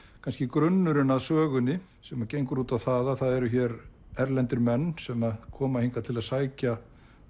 kannski grunnurinn að sögunni sem gengur út á það að það eru hér erlendir menn sem koma hingað til að sækja